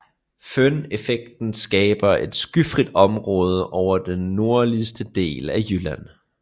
Føneffekten skaber et skyfrit område over den nordligste del af jylland